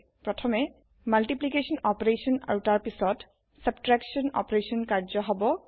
প্ৰথমে মাল্টিপ্লিকেশ্যন পুৰণ অপাৰেচন আৰু তাৰ পাছত ছাবট্ৰেকশ্যন বিয়োগ অপাৰেচন কাৰ্য্য হব